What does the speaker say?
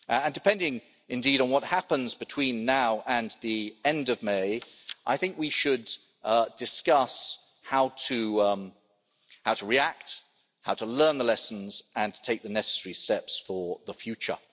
Depending, indeed, on what happens between now and the end of May, I think we should discuss how to react, how to learn the lessons and to take the necessary steps for the future.